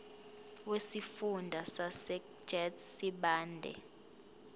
wesifunda sasegert sibande